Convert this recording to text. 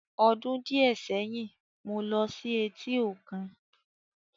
Ọdún díẹ̀ sẹ́yìn, mo ló sí etí òkun